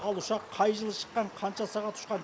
ал ұшақ қай жылы шыққан қанша сағат ұшқан